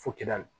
Fo kɛ da la